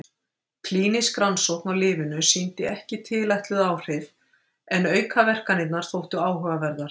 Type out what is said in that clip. Klínísk rannsókn á lyfinu sýndi ekki tilætluð áhrif en aukaverkanirnar þóttu áhugaverðar.